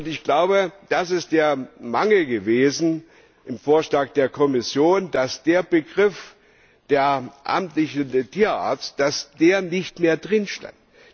Ich glaube, das ist der Mangel gewesen im Vorschlag der Kommission dass der Begriff der amtliche Tierarzt nicht mehr darin stand.